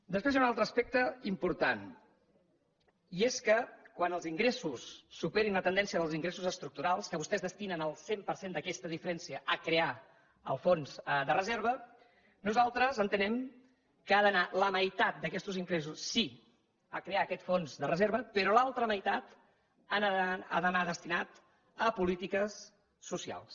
després hi ha un altre aspecte important i és que quan els ingressos superin la tendència dels ingressos estructurals que vostès destinen el cent per cent d’aquesta diferència a crear el fons de reserva nosaltres entenem que ha d’anar la meitat d’aquests ingressos sí a crear aquest fons de reserva però l’altra meitat ha d’anar destinada a polítiques socials